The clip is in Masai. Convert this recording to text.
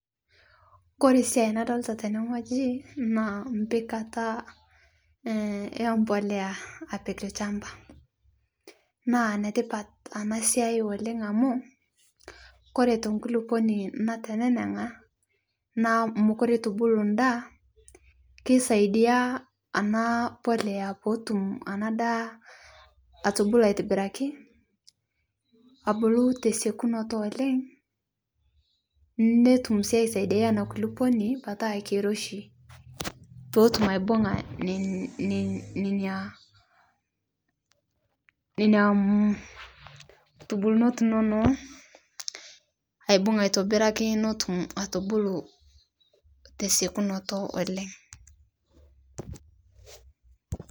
Kore siai nadolita tenee ng'hojii naa mpikataa empolea apik lshampa naa netipat ana siai oleng' amuu kore the nkuliponii nateneneng'a naa mokure eitubuluu ndaa keisaidia ana polea pootum ana daa atubuluu aitibirakii abuluu tesekunotoo oleng' notum sii aisaidiai anaa kuliponii petaa keiroshii peetum aibung'a nenia, nenia kutubulunot inonoo aibung aitobirakii notum atubuluu tesekunotoo oleng'.